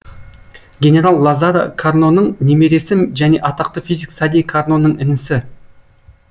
генерал лазара карноның немересі және атақты физик сади карноның інісі